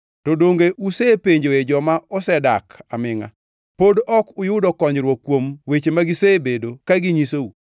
To donge usepenjoe joma osedak amingʼa? Pod ok uyudo konyruok kuom weche ma gisebedo ka ginyisou,